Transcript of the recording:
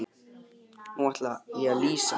Nú ætla ég að lýsa mér.